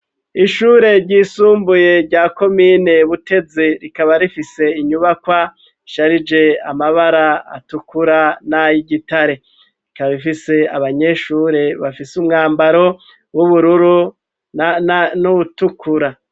Ishure ryisumbuye rya komine butezi rikaba rifise inyubakwa isharije amabara atukura n'ayigitare rikaba ifise abanyeshure bafise umwambaro w'ubururu n'ubutukura.